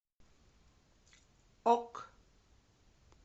ок